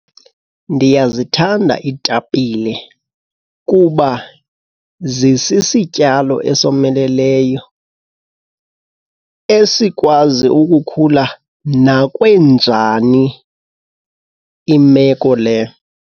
Ndiyazithanda iitapile kuba zisisityalo esomeleleyo esikwazi ukukhula nakwenjani imeko le.